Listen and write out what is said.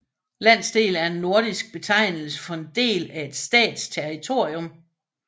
Landsdel er en nordisk betegnelse for en del af en stats territorium